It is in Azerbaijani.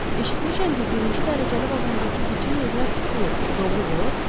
Eşitmişəm ki, birinci dərəcəli vaqondakı bütün yerlər tutulub, bu doğrudur?